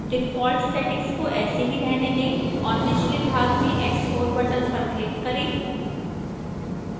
default settings को ऐसे ही रहने दें और निचले भाग में export button पर क्लक करें